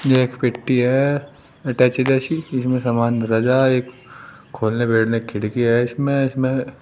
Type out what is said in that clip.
एक पेटी है अटैची जैसी। इसमे सामान धरा जाय। एक खोलने बैठने की खड़की है इसमें। इसमें --